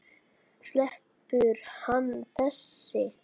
Sleppur hann þessi?